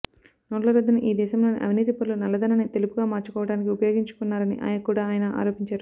నోట్ల రద్దును ఈ దేశంలోని అవినీతిపరులు నల్లధనాన్నితెలుపుగా మార్చుకోవడానికి ఉపయోగించుకున్నారని కూడా ఆయన ఆరోపించారు